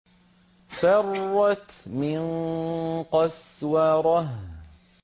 فَرَّتْ مِن قَسْوَرَةٍ